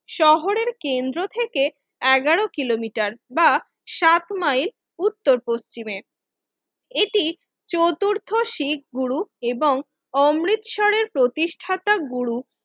শহরের কেন্দ্র থেকে এগারো কিলোমিটার বা সাতমাইল উত্তর পশ্চিমে এটি চতুর্থ শিখ গুরু এবং অমৃতসরের প্রতিষ্ঠাতা গুরু শহরের